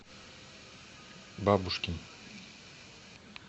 бабушкин